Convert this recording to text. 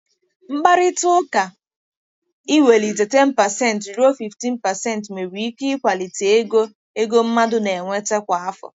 Mkparịta ụka iwelite 10% ruo 15% nwere ike ịkwalite ego ego mmadụ na-enweta kwa afọ.